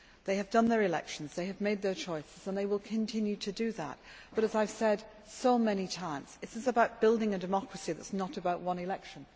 They have had their elections, they have made their choices and they will continue to do that, but as I have said so many times, this is about building a democracy that is not about one election.